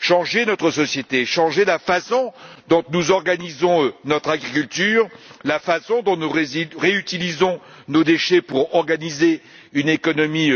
Changer notre société, changer la façon dont nous organisons notre agriculture, la façon dont nous réutilisons nos déchets pour organiser une économie